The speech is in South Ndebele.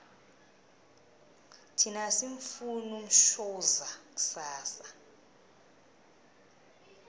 thina asimufuni umshoza kusasa